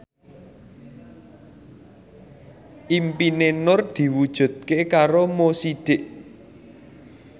impine Nur diwujudke karo Mo Sidik